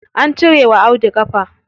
An cire wa Audu ƙafa.